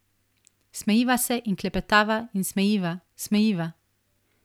Smejiva se in klepetava in smejiva, smejiva.